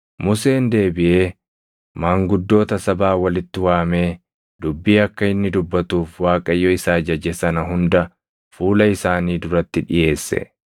Museen deebiʼee maanguddoota sabaa walitti waamee, dubbii akka inni dubbatuuf Waaqayyo isa ajaje sana hunda fuula isaanii duratti dhiʼeesse.